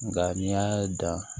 Nka n'i y'a dan